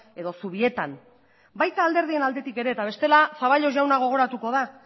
edo zubietan baita alderdien aldetik ere eta bestela zaballos jauna gogoratuko da